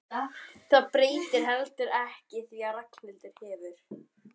Það breytir heldur ekki því að Ragnhildur hefur